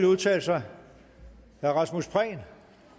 udtale sig herre rasmus prehn